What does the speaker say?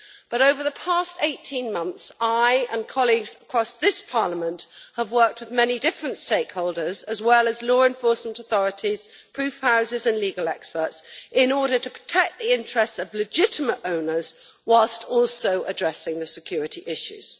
But, over the past 18 months, I have worked with colleagues across this Parliament and many different stakeholders, as well as law enforcement authorities, proof houses and legal experts, in order to protect the interests of legitimate owners whilst also addressing the security issues.